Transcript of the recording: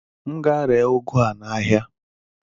M gaa ree ụgụ a n'ahịa?